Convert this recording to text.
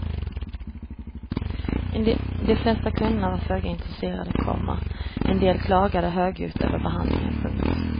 De flesta kunderna var föga intresserade, komma en del klagade högljutt över behandlingen. punkt